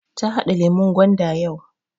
Ta haɗa lemun gwanda yau